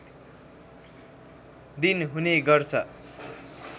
दिन हुने गर्छ